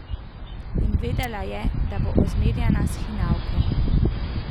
In vedela je, da bo ozmerjana s hinavko.